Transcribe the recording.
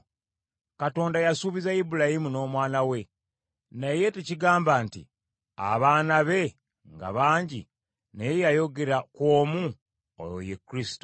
Katonda yasuubiza Ibulayimu n’Omwana we, naye tekigamba nti n’abaana be ng’abangi, naye yayogera ku omu, oyo ye Kristo.